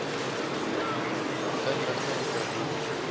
inligting oor hoe